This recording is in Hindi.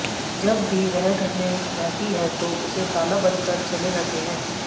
जब भी वह घर में रहती है तो उसे ताला बंद कर चले जाते हैं